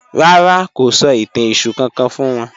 Rárá, kò sọ̀ itàn Èṣù kankan fún wọn